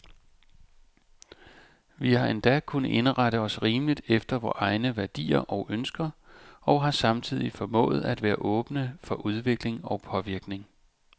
Vi har endda kunnet indrette os rimeligt efter vore egne værdier og ønsker, og har samtidig formået at være åbne for udvikling og påvirkning.